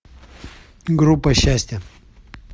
группа счастья